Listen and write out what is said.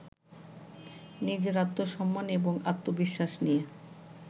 নিজের আত্মসম্মান এবং আত্মবিশ্বাস নিয়ে